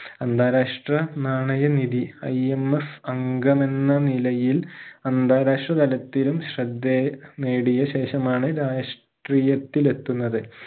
അന്താരാഷ്ട്ര നാണയ നിധി IMS അംഗം എന്ന നിലയിൽ അന്താരാഷ്ട്ര തലത്തിലും ശ്രദ്ധേ നേടിയ ശേഷമാണ് രാഷ്ട്രീയത്തിലെത്തുന്നത്